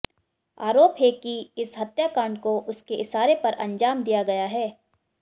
आरोप है कि इस हत्याकांड को उसके इशारे पर अंजाम दिया गया है